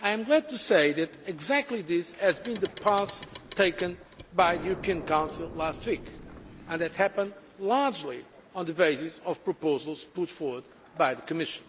I am glad to say that this was the path taken by the European Council last week and that happened largely on the basis of proposals put forward by the Commission.